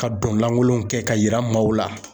Ka don langolow kɛ ka yira maaw la